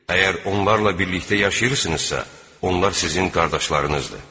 Əgər onlarla birlikdə yaşayırsınızsa, onlar sizin qardaşlarınızdır.